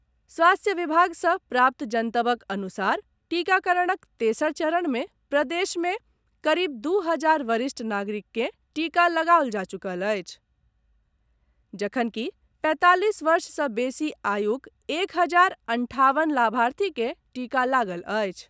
स्वास्थ्य विभाग सॅ प्राप्त जनतबक अनुसार टीकाकरणक तेसर चरण में प्रदेश मे करीब दू हजार वरिष्ठ नागरिक के टीका लगाओल जा चुकल अछि, जखनकि पैंतालीस वर्ष सॅ बेसी आयुक एक हजार अंठावन लाभार्थी के टीका लागल अछि।